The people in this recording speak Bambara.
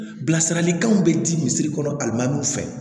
Bilasiralikanw bɛ di misiri kɔnɔ alimɛdu fɛ